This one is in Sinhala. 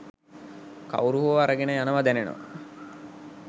කවුරු හෝ අරගෙන යනවා දැනෙනවා